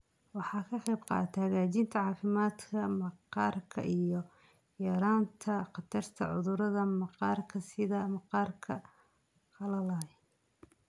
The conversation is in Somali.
Waxay ka qaybqaadataa hagaajinta caafimaadka maqaarka iyo yaraynta khatarta cudurrada maqaarka sida maqaarka qalalan.